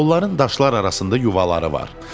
Onların daşlar arasında yuvaları var.